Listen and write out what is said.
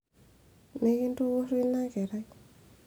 mikintukurru ina kerai